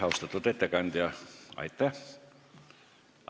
Austatud ettekandja, aitäh!